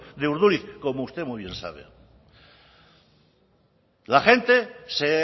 de urduliz como usted muy bien sabe la gente se